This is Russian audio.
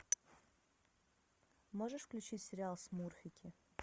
можешь включить сериал смурфики